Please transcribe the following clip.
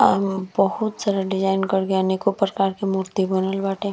अ बहुत सारा डिज़ाइन करके अनेक प्रकार के मूर्ति बनल बाटे।